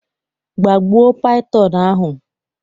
gbagbuo python ahụ!